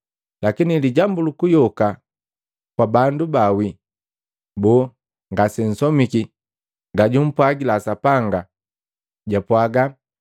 Lakini lijambu lukuyoka kwa bandu ba wii, boo, ngasensomiki gaju mpwagila Sapanga? Jwapwaga,